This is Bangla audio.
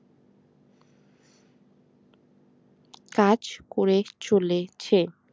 কাজ করে চলেছে